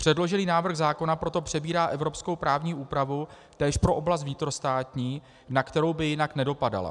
Předložený návrh zákona proto přebírá evropskou právní úpravu též pro oblast vnitrostátní, na kterou by jinak nedopadala.